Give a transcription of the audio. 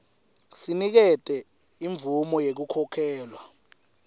sinikete imvumo yekukhokhelwa